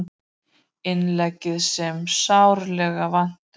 Innleggið sem sárlega vantaði